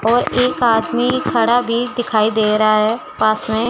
और एक आदमी खड़ा भी दिखाई दे रहा है पास में--